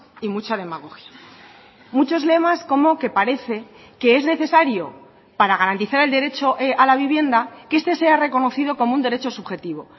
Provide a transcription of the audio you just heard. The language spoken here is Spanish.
y mucha demagogia muchos lemas como que parece que es necesario para garantizar el derecho a la vivienda que este sea reconocido como un derecho subjetivo